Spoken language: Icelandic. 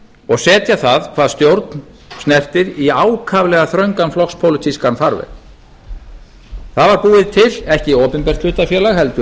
og setja það hvað stjórn snertir í ákaflega þröngan flokkspólitískan farveg það var búið til ekki opinbert hlutafélag heldur